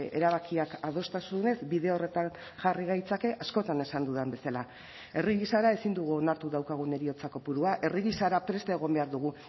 erabakiak adostasunez bide horretan jarri gaitzake askotan esan dudan bezala herri gisara ezin dugu onartu daukagun heriotza kopurua herri gisara prest egon behar dugu